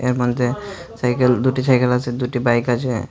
এর মধ্যে সাইকেল দুটি সাইকেল আছে দুটি বাইক আছে।